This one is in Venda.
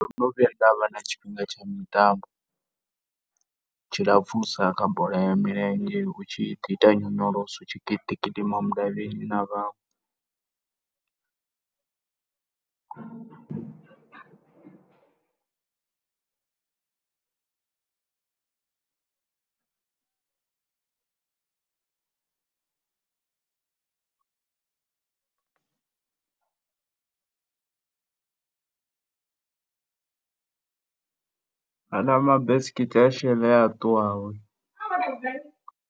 Ndo no vhuya nda vha na tshifhinga tsha mitambo tshilapfhusa kha bola ya milenzhe hu tshi ḓi ita nyonyoloso hu tshi ḓi gidima na vhaṅwe .